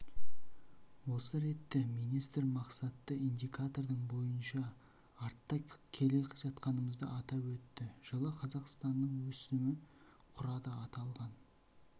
осы ретте министр мақсатты индикатордың бойынша артта келе жатқанымызды атап өтті жылы қазақстанның өсімі құрады аталған